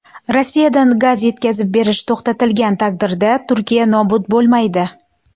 Rossiyadan gaz yetkazib berish to‘xtatilgan taqdirda Turkiya nobud bo‘lmaydi.